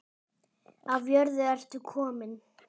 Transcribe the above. Af jörðu ertu kominn.